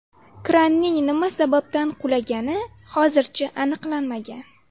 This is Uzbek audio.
Kranning nima sababdan qulagani hozircha aniqlanmagan.